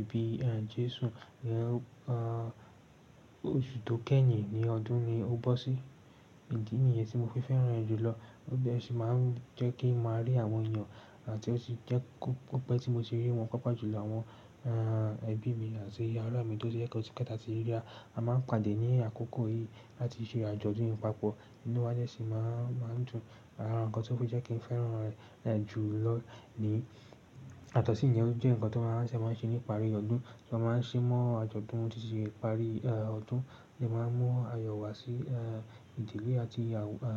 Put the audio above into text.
ìbí Jésù, óṣù tó keyin ní ọdún ni ó bọ́ sí. Ìdí nìyẹn tí mo fi fẹ́ràn rẹ̀ jùlọ, ó sì máa ń jẹ́ kí mo rí àwọn èèyàn àti ó sì jẹ́ pé tí mo ṣe rí wọn, pàápàá jùlọ àwọn ẹbí mi àti ará mi tó jẹ́ pé óti pẹ taati ríra. A máa ń pàdé ní àkókò yìí láti ṣe àjọ̀dún papọ̀, inúwá dẹ́ sì máa ń dùn. Ara nkan tí ó fi jẹ́ kí n fẹ́ràn rẹ̀ jùlọ ni yàtọ̀sí yẹn ó jẹ́ nǹkan tí wọ́n máa ń ṣe ní ìparí ọdún. Wọn máa ń ṣe mọ́ àjọ̀dún títí ìparí ọdún, lè máa mú ayọ̀ wá sí ìdílé àti